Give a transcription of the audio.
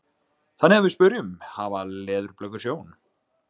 Þannig að við spyrjum: Hafa leðurblökur sjón?